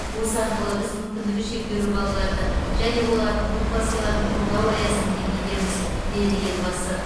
осы арқылы біз мүмкіндігі шектеулі балаларды және олардың отбасыларын қолдау аясын кеңейтеміз деді елбасы